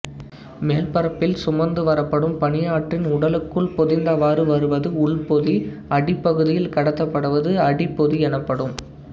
மேல்பரப்பில் சுமந்து வரப்படும் பனியாற்றின்உடலுக்குள் பொதிந்தவாறு வருவது உள்பொதி அடிப்பகுதியில் கடத்தபடுவது அடிப்பொதி எனப்படும்